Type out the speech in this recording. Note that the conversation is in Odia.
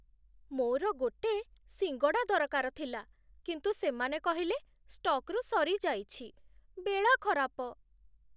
ମୋର ଗୋଟେ ସିଙ୍ଗଡ଼ା ଦରକାର ଥିଲା କିନ୍ତୁ ସେମାନେ କହିଲେ ଷ୍ଟକ୍‌ରୁ ସରିଯାଇଛି, ବେଳା ଖରାପ ।